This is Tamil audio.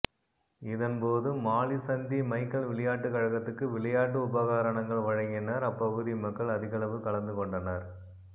இதன் போது மாலிசந்தி மைக்கல் விளையாட்டுக்கழகததுக்கு விளையாட்டு உபகாரணங்கள் வழங்கினர் அப்பகுதி மக்கள் அதிகளவு கலந்துகொண்டனர்